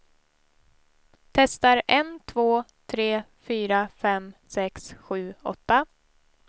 Testar en två tre fyra fem sex sju åtta.